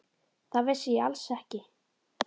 Það vissi ég alls ekki.